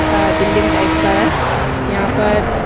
अ building type का है यहाँ पर--